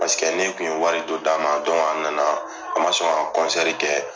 Paseke ne kun ye wari dɔ d'a ma, a nana a ma sɔn ka kɛ.